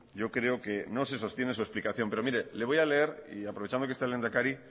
yo creo que no se sostiene su explicación pero mire le voy a leer y aprovechando que está el lehendakari